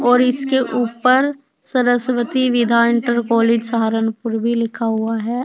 और इसके ऊपर सरस्वती विद्या इंटर कॉलेज सहारनपुर भी लिखा हुआ है।